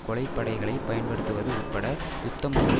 கொலை படைகளை பயன்படுத்துவது உட்பட யுத்தமொன்றை